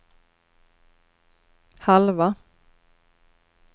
halva